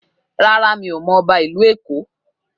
Rárá, mi ò mọ ọba ìlú Èkó